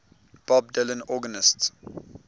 bob dylan organist